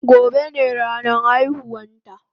Gobe ne ranan aihuwan ta